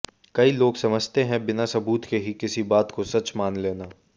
कई लोग समझते हैं बिना सबूत के ही किसी बात को सच मान लेना